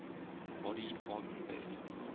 body carbon based